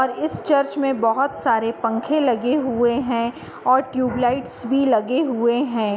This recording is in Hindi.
और इस चर्च में बोहोत सारे पंखे लगे हुए हैं और ट्यूबलाइट भी लगे हुए हैं।